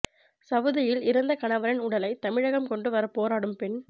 சவூதியில் இறந்த கணவரின் உடலை தமிழகம் கொண்டு வரப் போராடும் பெண்